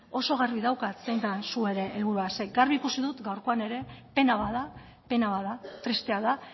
oso garbi daukat zein den zuen helburua zeren garbi ikusi dut gaurkoan ere pena bat da pena bat da tristea da